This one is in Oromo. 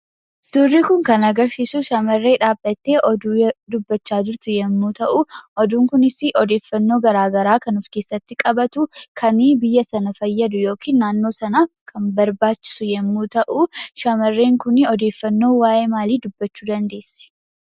Suurri kun kan agarsiisu shamarree dhaabbattee oduu dubbachaa jirtu yemmuu ta'u oduun kunis odeeffannoo garaagaraa kan of keessatti qabatu, kan biyya sana fayyadu yookiin kan naannoo san kan barbaachisu yemmuu ta'u, shamarreen kun odeeffannoo waa'ee maalii dubbachuu dandeessi?